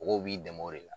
Mɔgɔw b'i dɛmɛ o de la